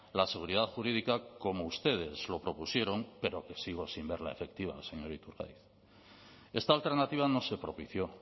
la seguridad jurídica como ustedes lo propusieron pero que sigo sin verla efectiva señor iturgaiz esta alternativa no se propició